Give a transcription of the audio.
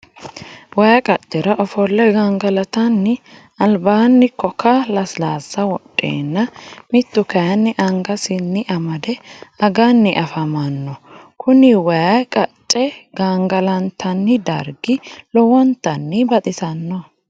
Wayi qacera offole gangalatanni alibani koka lasilasa wodhenna mitu kayini angasinni amade aganii afamanno kuni wayi qacce gangalantanni darigi lowontanni baxisano